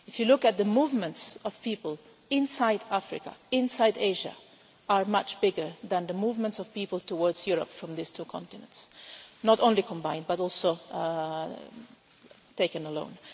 If you look at the movements of people inside Africa, inside Asia, they are much bigger than the movements of people towards Europe from these two continents, not only combined but also taken alone.